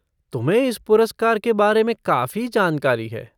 तुम्हें इस पुरस्कार के बारे में काफ़ी जानकारी है।